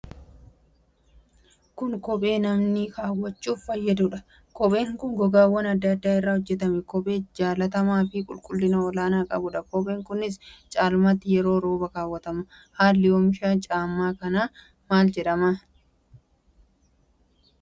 Kun kophee namni keewwachuuf fayyadudha. Kopheen kun gogaawwan adda adda irraa hojjetame. Kophee jaallatamaa fi qulqullina olaana qabuudha. Kopheen kunis caalmaatti yeroo rooba keewwatama. Haalli omisha caammaa kana maal fakkaata?